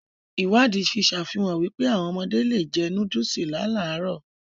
Ìwádìí fi sàfihàn wípé, áwọn ọmọdé le è jẹ nóódùsì láàlárọ̀